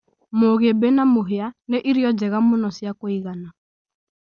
Mũgĩmbi na mũhĩa nĩ irio njega mũno cia kũigana.